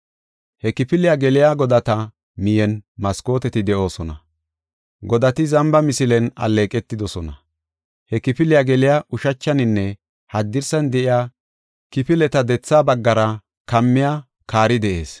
He kifiliya geliya godata miyen maskooteti de7oosona. Godati zamba misilen alleeqetidosona. He kifiliya geliya ushachaninne haddirsan de7iya kifileta dethaa baggara kammiya kaari de7ees.